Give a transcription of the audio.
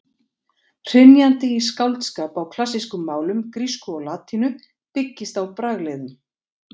Hrynjandi í skáldskap á klassískum málum, grísku og latínu, byggist á bragliðum.